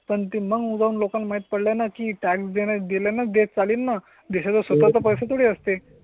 पण ते मग जाऊन लोकांना माहित पडलं ना की टॅक्स देणं दिलं जे चालेलं ना दिशा स्वतः पैसे थोडी असते